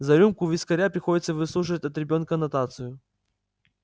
за рюмку вискаря приходится выслушивать от ребёнка нотацию